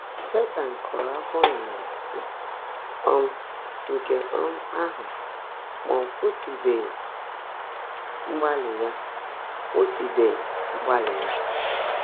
Sétan kụ́ụ́rụ́ áfọ́ n’àlá nà um nkè um áhụ́, mà ọ́ kwụ́sị́bèèghị́ mgbaálị́ yá. kwụ́sị́bèèghị́ mgbaálị́ yá.